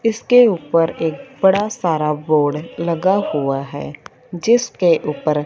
इसके ऊपर एक बड़ा सारा बोर्ड लगा हुआ है जिसके ऊपर--